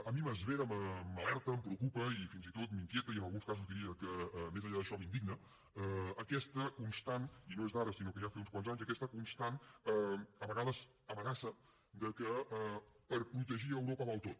a mi m’esvera m’alerta em preocupa i fins i tot m’inquieta i en alguns casos diria que més enllà d’això m’indigna aquesta constant i no és d’ara sinó que ja fa uns quants anys a vegades amenaça de que per protegir europa val tot